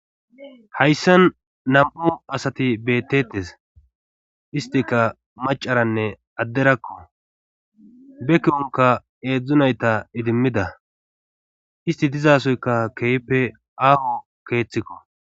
hayssan nam7u asati beettetes istika macaranne adderakko be kironka eedzdzunayta idimmida isti dizasoyka keehpe aaho keeththikko